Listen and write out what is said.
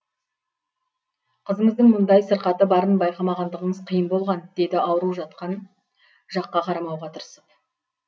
қызыңыздың мұндай сырқаты барын байқамағандығыңыз қиын болған деді ауру жатқан жаққа қарамауға тырысып